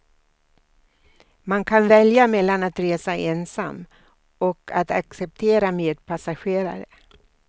Man kan välja mellan att resa ensam och att acceptera medpassagerare.